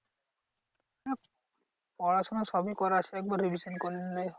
না পড়াশোনা সবই করা আছে একবার করে নিলেই হবে।